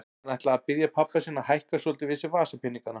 Hann ætlaði að biðja pabba sinn að hækka svolítið við sig vasapeningana.